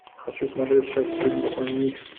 хочу смотреть сейчас фильм они